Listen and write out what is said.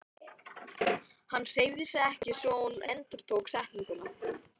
Hann hreyfði sig ekki svo hún endurtók setninguna.